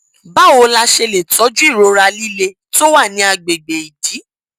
báwo la ṣe lè tọjú ìrora líle tó wà ní àgbègbè ìdí